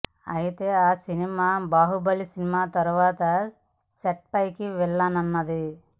అయితే ఆ cinema Baahubali cinema తర్వాత సెట్స్ పైకి వెళ్లనున్నది